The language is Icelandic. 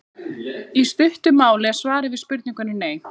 í stuttu máli er svarið við spurningunni nei